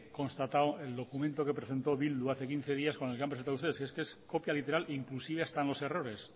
constatado el documento que presentó bildu hace quince días con el que han presentado ustedes que es que es copia literal inclusive hasta en los errores